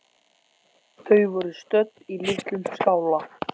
Þau voru stödd í litlum skála.